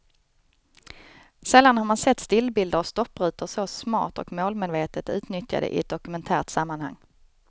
Sällan har man sett stillbilder och stopprutor så smart och målmedvetet utnyttjade i ett dokumentärt sammanhang.